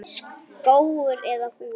Skógur eða hús?